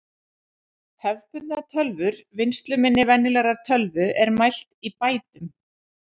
Hefðbundnar tölvur Vinnsluminni venjulegrar tölvu er mælt í bætum.